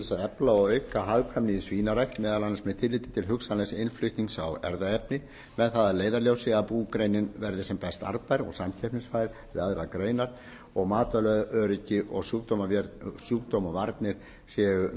efla og auka hagkvæmni í svínarækt meðal annars með tilliti til hugsanlegs innflutnings á erfðaefni með það að leiðarljósi að búgreinin verði arðbær og samkeppnisfær við aðrar greinar og matvælaöryggi og sjúkdómavarnir séu